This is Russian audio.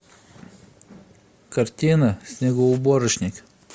картина снегоуборочник